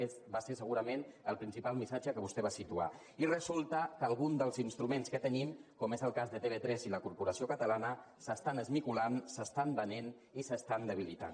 aquest va ser segurament el principal missatge que vostè va situar i resulta que algun dels instruments que tenim com és el cas de tv3 i la corporació catalana s’estan esmicolant s’estan venent i s’estan debilitant